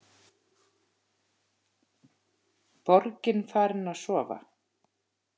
Borgin farin að sofa.